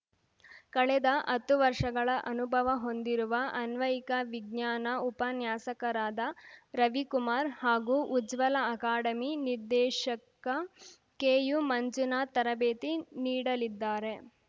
ಕಳೆದ ಹತ್ತು ವರ್ಷಗಳ ಅನುಭವ ಹೊಂದಿರುವ ಅನ್ವಯಿಕ ವಿಜ್ಞಾನ ಉಪನ್ಯಾಸಕರಾದ ರವಿಕುಮಾರ್‌ ಹಾಗೂ ಉಜ್ವಲ ಅಕಾಡೆಮಿ ನಿರ್ದೇಶಕ ಕೆಯುಮಂಜುನಾಥ್‌ ತರಬೇತಿ ನೀಡಿಲಿದ್ದಾರೆ